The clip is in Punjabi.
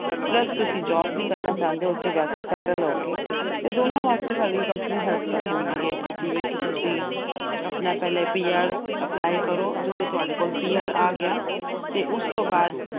plus ਤੁਸੀਂ job ਵੀ ਕਰਨਾ ਚਾਹੁੰਦੇ ਓ, ਉੱਥੇ ਜਾ ਕੇ, settle ਹੋ ਕੇ ਤੇ ਦੋਨਾਂ ਵਾਸਤੇ ਸਾਡੀ company help ਕਰ ਦਿੰਦੀ ਆ ਕਿ ਜਿਵੇਂ ਕਿ ਤੁਸੀਂ ਪਹਿਲਾ ਆਪਣਾ PR apply ਕਰੋ। ਜਦੋਂ ਤੁਹਾਡੇ ਕੋਲ PR ਆ ਗਿਆ, ਉਸ ਤੋਂ ਬਾਅਦ